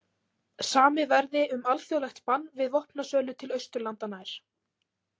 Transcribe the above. Samið verði um alþjóðlegt bann við vopnasölu til Austurlanda nær.